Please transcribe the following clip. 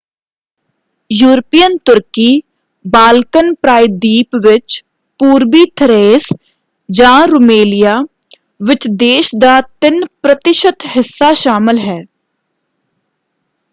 European ਤੁਰਕੀ Balkan ਪ੍ਰਾਇਦੀਪ ਵਿੱਚ ਪੂਰਬੀ ਥਰੇਸ ਜਾਂ ਰੁਮੇਲੀਆ ਵਿੱਚ ਦੇਸ਼ ਦਾ 3% ਹਿੱਸਾ ਸ਼ਾਮਲ ਹੈ।